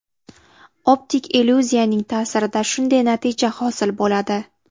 Optik illyuziyaning ta’sirida shunday natija hosil bo‘ladi.